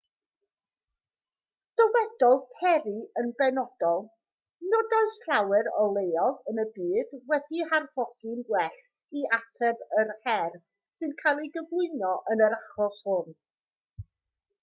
dywedodd perry yn benodol nid oes llawer o leoedd yn y byd wedi'u harfogi'n well i ateb yr her sy'n cael ei gyflwyno yn yr achos hwn